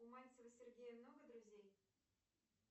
у мальцева сергея много друзей